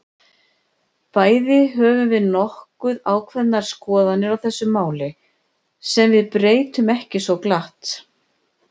Bæði höfum við nokkuð ákveðnar skoðanir á þessu máli, sem við breytum ekki svo glatt.